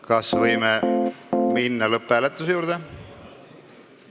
Kas võime minna lõpphääletuse juurde?